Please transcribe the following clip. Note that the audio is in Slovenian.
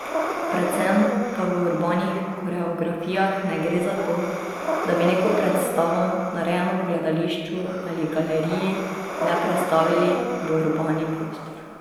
Predvsem pa v urbanih koreografijah ne gre za to, da bi neko predstavo, narejeno v gledališču ali galeriji, le prestavili v urbani prostor.